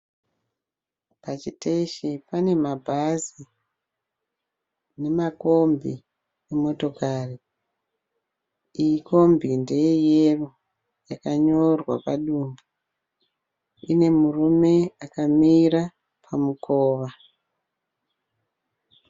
Pachiteshi pane mabhazi nemakombi nemotokari, iyi kombi ndeye yero yakanyorwa padumbu, ine murume akamira pamukova